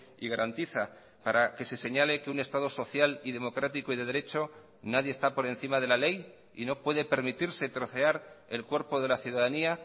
y garantiza para que se señale que un estado social y democrático y de derecho nadie está por encima de la ley y no puede permitirse trocear el cuerpo de la ciudadanía